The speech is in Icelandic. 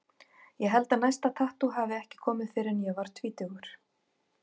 Ég held að næsta tattú hafi ekki komið fyrr en ég var tvítugur.